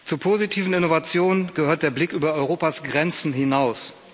Zur positiven Innovation gehört der Blick über Europas Grenzen hinaus.